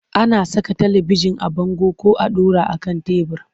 Ana saka talibijin a bango ko a ɗora a kan tebur.